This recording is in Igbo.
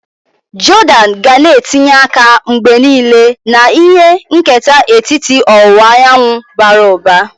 Jordan ga na etinye aka mgbe niile na ihe nketa etiti ọwụwa anyanwụ bara ụba.